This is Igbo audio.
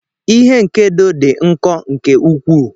Ihe nkedo dị nkọ nke ukwuu.